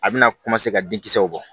A bɛna ka den kisɛw bɔ